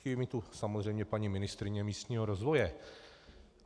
Chybí mi tu samozřejmě paní ministryně místního rozvoje.